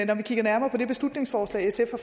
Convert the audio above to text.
jeg kigger nærmere på det beslutningsforslag sf har